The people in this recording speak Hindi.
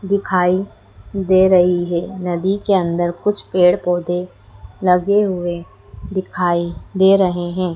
दिखाई दे रहीं हैं नदी के अंदर कुछ पेड़ पौधे लगे हुए दिखाई दे रहें हैं।